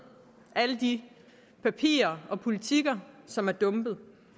alle de papirer og politikker som er dumpet